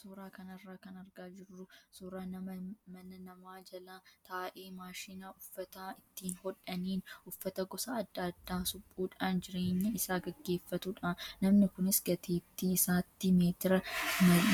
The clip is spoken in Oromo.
Suuraa kanarraa kan argaa jirru suuraa nama mana namaa jala taa'ee maashina uffata ittiin hodhaniin uffata gosa adda addaa suphuudhaan jireenya isaa gaggeeffatudha. Namni kunis gateettii isaatti meetira